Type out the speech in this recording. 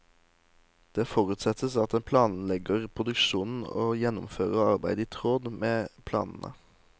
Det forutsettes at en planlegger produksjonen og gjennomfører arbeidet i tråd med planene.